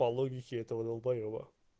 по логике этого долбоеба